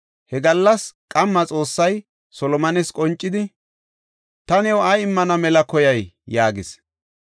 He gallas qamma Xoossay Solomones qoncidi, “Ta new ay immana mela koyay?” yaagis.